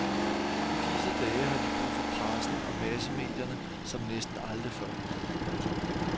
I disse dage har de brug for pressen og massemedierne som næsten aldrig før. punktum